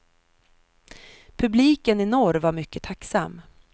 Publiken i norr var mycket tacksam.